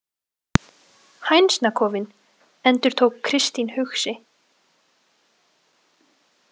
Hænsnakofinn, endurtók Kristín hugsi.